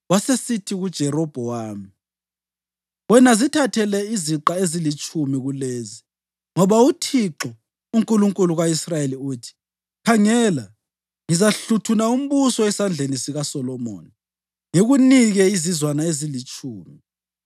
Wasesithi kuJerobhowamu, “Wena zithathele iziqa ezilitshumi kulezi, ngoba uThixo, uNkulunkulu ka-Israyeli uthi, ‘Khangela, ngizahluthuna umbuso esandleni sikaSolomoni ngikunike izizwana ezilitshumi.